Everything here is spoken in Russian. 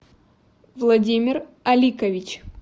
владимир аликович